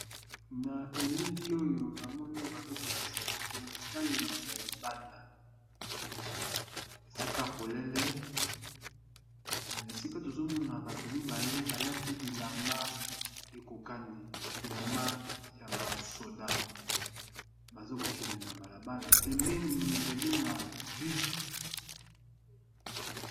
Na elili oyo na moni bazokolakisa biso etaleli ya libanda esika polele esika tozomona bato mibale balati bilamba ekokani bilamba ya basoda bazokokende na balabala pemeni ezali na bus.